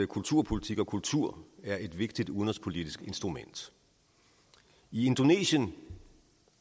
kulturpolitik og kultur er et vigtigt udenrigspolitisk instrument i indonesien